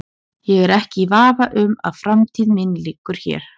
Ég er ekki í vafa um að framtíð mín liggur hér.